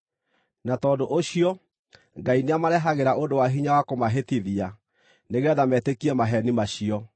Na tondũ ũcio Ngai nĩamarehagĩra ũndũ wa hinya wa kũmahĩtithia, nĩgeetha metĩkie maheeni macio,